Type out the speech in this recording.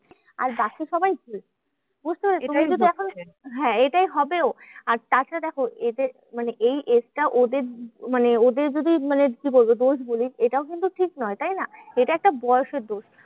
আর বাকি সবাই ভুল। হ্যাঁ এটাই হবেও আর তাছাড়া দেখো এদের মানে এই age টা ওদের মানে ওদের যদি মানে কি বলবো? দোষ বলি এটাও কিন্তু ঠিক নয়, তাইনা? এটা একটা বয়সের দোষ।